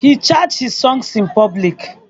He chants his songs in public.